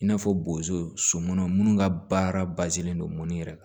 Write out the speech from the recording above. I n'a fɔ bozo so munnu ga baara len don mun yɛrɛ